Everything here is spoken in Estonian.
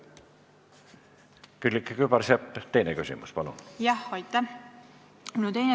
Külliki Kübarsepp, teine küsimus, palun!